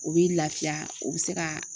O b'i laafiya o bɛ se ka